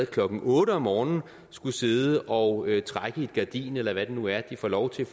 klokken otte om morgenen skulle sidde og trække i et gardin eller hvad det nu er de får lov til